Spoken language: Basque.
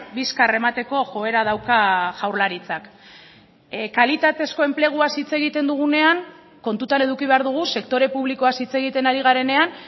bizkar emateko joera dauka jaurlaritzak kalitatezko enpleguaz hitz egiten dugunean kontutan eduki behar dugu sektore publikoaz hitz egiten ari garenean